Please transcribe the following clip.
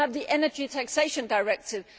it. We also have the Energy Taxation Directive.